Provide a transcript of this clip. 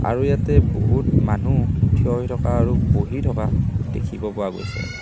আৰু ইয়াতে বহুত মানুহ থিয় হৈ থকা আৰু বহি থকা দেখিব পোৱা গৈছে।